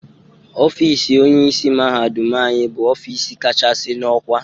Ofiisi Onyeisi mahadum anyị bụ Ofiisi kachasị n'ọkwá